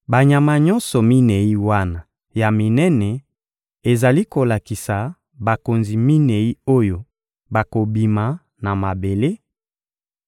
— Banyama nyonso minei wana ya minene ezali kolakisa bakonzi minei oyo bakobima na mabele;